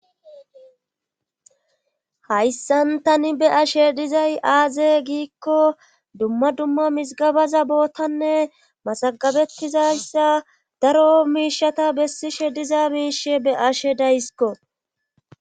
hayssan tani be ashe dizay aaze giikko dumma dumma misigabaza bootanne masagabettizayssa daro miishata bessishe diza miishe beashe daysiko